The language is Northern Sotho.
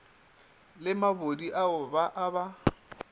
le mabodi ao ba a